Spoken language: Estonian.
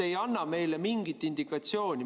Te ei anna meile mingit indikatsiooni.